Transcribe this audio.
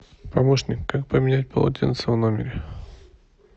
помощник как поменять полотенца в номере